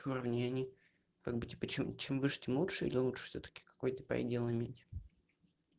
уравнение как быть и почему чем выше тем лучше и лучше всё-таки какой-то предел иметь